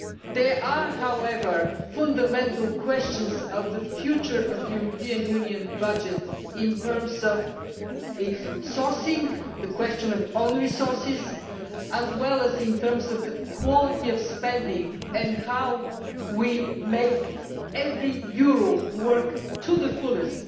There are, however, fundamental questions on the future of the European Union budget in terms of its sourcing, the question of own resources, as well as in terms of the quality of spending and how we make every euro work to the fullest